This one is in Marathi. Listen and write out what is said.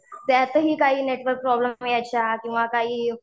त्यातही काही नेटवर्क प्रॉब्लेम यायच्या किंवा काही